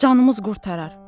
Canımız qurtarar.